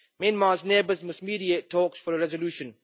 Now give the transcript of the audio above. Myanmar's neighbours must mediate talks for a resolution.